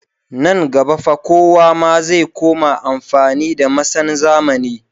Nan gaba fa kowa ma zai koma amfani da masan zamani